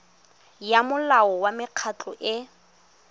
ya molao wa mekgatlho e